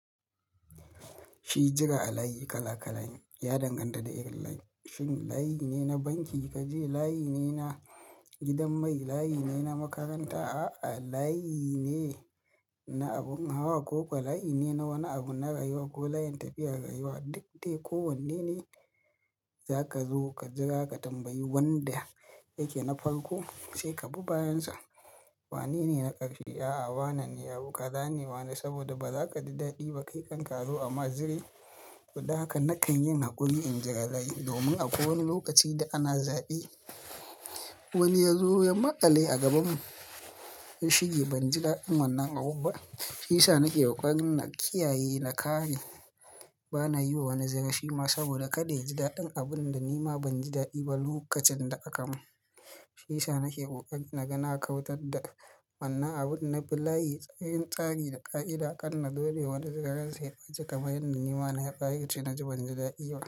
Shi jira a layi kala kala ne, ya danganta da irin layin, shin layi ne na banki kaje? Layi ne na gidan mai? Layi ne na makaranta? A'a layi ne na abin hawa? Ko ko layi ne na wani abu na rayuwa ko layin tafiyar rayuwa? Duk dai ko wanne ne, za ka zo ka jira ka tambayi wanda yake na farko sai ka bi bayansa. Wane ne na ƙarshe? A'a wane ne abu ka zane, ma saboda ba za ka ji daɗi ba kai kan ka azo a ma zire, to dan haka na kan yin haƙuri in jira layi domin akwai wani lokaci da ana zaɓe wani ya zo ya maƙale a gabanmu. Shine ban ji daɗin wannan abun ba shiyasa nake ƙoƙarin na kiyaye na kare, bana yiwa wani zire shima saboda kada ya ji daɗin abun da nima ban ji daɗi ba lokacin da aka mun. Shiyasa nake ƙoƙarin na ga na kautar da wannan abun na bi layi, yin tsari da ƙa'ida, karna zo naiwani zire ransa ya ɓaci kamar yanda nima na wa yabaci na ji banji daɗi ba.